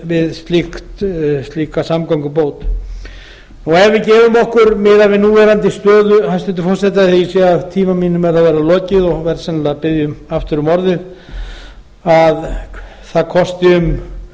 við slíka samgöngubót ef við gefum okkur miðað við núverandi stöðu hæstvirtur forseti af því að ég sé að tíma mínum er að verða lokið og ég verð sennilega að biðja aftur um orðið að það kosti um